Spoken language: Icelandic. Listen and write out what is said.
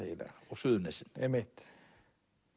á Suðurnesin